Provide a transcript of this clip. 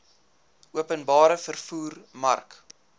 openbare vervoer mark